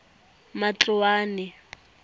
matloane